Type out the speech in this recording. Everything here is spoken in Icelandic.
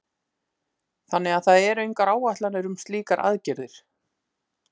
Þannig að það eru engar áætlanir um slíkar aðgerðir?